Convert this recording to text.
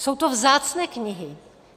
Jsou to vzácné knihy.